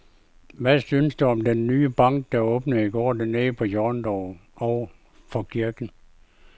Hvad synes du om den nye bank, der åbnede i går dernede på hjørnet over for kirken?